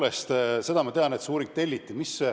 Tõepoolest, seda ma tean, et see uuring telliti.